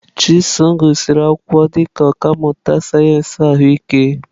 Chisom gụsịrị akwụkwọ dị ka ọkà mmụta sayensị ahụike.